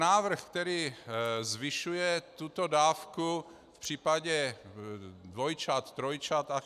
Návrh, který zvyšuje tuto dávku v případě dvojčat, trojčat atd.